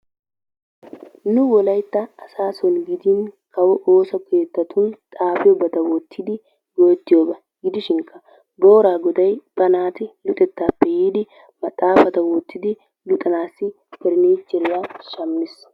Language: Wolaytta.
Nu wolaytta asaa soon gidin kawo ooso keettan xafiyobata wottidi go''ettiyooga gidishinkka boora goday ba naati luxettappe yiidi maxaafata wottidi luxanassi paranicheriyaa shammiis.